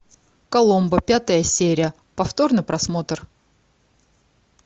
коломбо пятая серия повторный просмотр